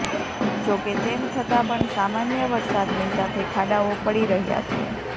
જો કે તેમ થતા પણ સામાન્ય વરસાદની સાથે ખાડાઓ પડી રહ્યા છે